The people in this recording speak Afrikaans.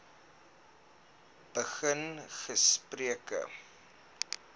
begin gesprekke